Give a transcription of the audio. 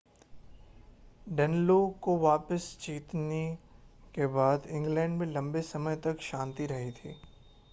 Danelaw को वापिस जीतने के बाद इंग्लैंड में लम्बे समय तक शान्ति रही थी